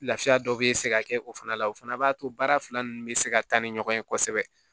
Lafiya dɔ bɛ se ka kɛ o fana la o fana b'a to baara fila ninnu bɛ se ka taa ni ɲɔgɔn ye kosɛbɛ